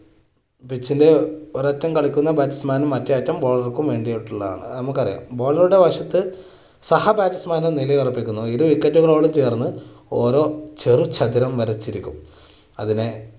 pitch ല് ഒരറ്റം കളിക്കുന്ന batsman നും മറ്റെ അറ്റം bowler ക്കും വേണ്ടിയിട്ടുള്ളതാണ്. അത് നമുക്കറിയാം. bowler റുടെ വശത്ത് സഹ batsman നും നിലയുറപ്പിക്കുന്നു ഇത് wicket നോട് ചേർന്ന് ഓരോ ചെറു ചതുരം വരച്ചിരിക്കുന്നു. അതിനെ